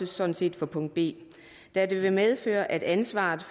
sådan set for punkt b da det vil medføre at ansvaret